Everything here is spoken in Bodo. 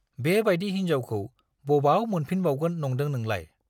बे बाइदि हिन्जावखौ बबाव मोनफिनबावगोन नंदों नोंलाय?